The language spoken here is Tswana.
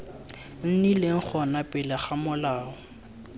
nnileng gona pele ga molao